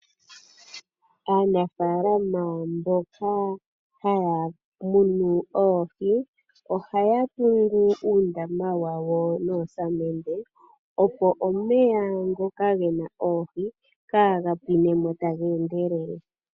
Aanafalamo mboka haya munh oohi ohaya ningi uundama wawo noo samende opo omeya ngoka gena oohi kaa ga pwinemo taga endelele.